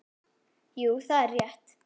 Jú, það er rétt.